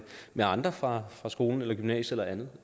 med andre fra fra skolen gymnasiet eller andet